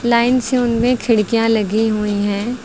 Line से उनमें खिड़कियां लगी हुई हैं।